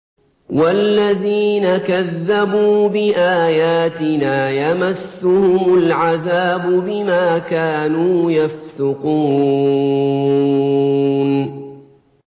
وَالَّذِينَ كَذَّبُوا بِآيَاتِنَا يَمَسُّهُمُ الْعَذَابُ بِمَا كَانُوا يَفْسُقُونَ